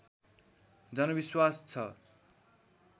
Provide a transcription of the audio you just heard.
जनविश्वास छ